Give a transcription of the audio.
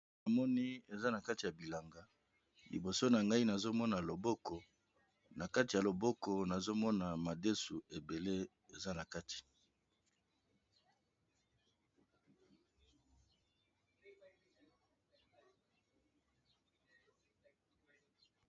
Namoni eza na kati ya bilanga liboso na ngai nazomona loboko na kati ya loboko nazomona madesu ebele.